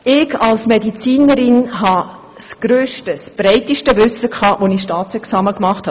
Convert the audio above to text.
Ich als Medizinerin hatte das grösste und breiteste Wissen, als ich das Staatsexamen gemacht habe.